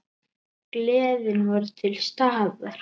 Gleðin var til staðar.